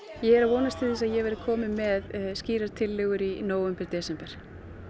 ég er að vonast til þess að ég verði komin með skýrar tillögur í nóvember desember